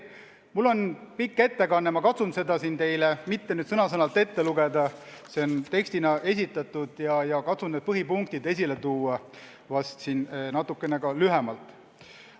Mul on pikk ettekanne, ma katsun seda siin teile mitte sõna-sõnalt ette lugeda – see on tekstina esitatud – ja põhipunktid esile tuua natuke lühemalt.